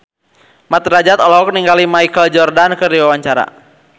Mat Drajat olohok ningali Michael Jordan keur diwawancara